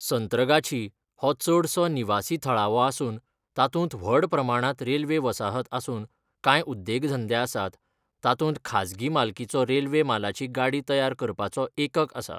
संत्रगाछी हो चडसो निवासी थळावो आसून तातूंत व्हड प्रमाणांत रेल्वे वसाहत आसून कांय उद्देगधंदे आसात, तातूंत खाजगी मालकीचो रेल्वे मालाची गाडी तयार करपाचो एकक आसा.